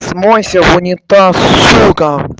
смойся в унитаз сука